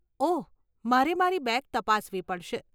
ઓહ, મારે મારી બેગ તપાસવી પડશે.